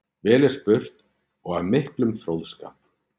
Vel er spurt og af miklum fróðskap.